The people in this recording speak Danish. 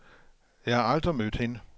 Jeg har aldrig mødt hende.